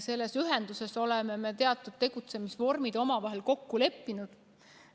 Selles ühenduses oleme me teatud tegutsemisvormid omavahel kokku leppinud.